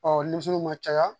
Ɔ denmisɛnw ma caya